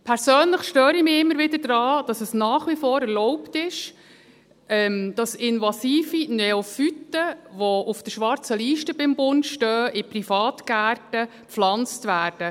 Persönlich störe ich mich immer wieder daran, dass es nach wie vor erlaubt ist, dass invasive Neophyten, die beim Bund auf der schwarzen Liste stehen, in Privatgärten gepflanzt werden.